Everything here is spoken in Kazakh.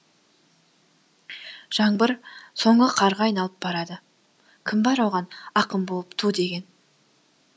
жаңбыр соңы қарға айналып барады кім бар оған ақын болып ту деген